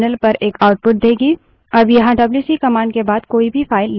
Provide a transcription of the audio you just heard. अब यहाँ WC wc command के बाद कोई भी file नहीं दी गयी है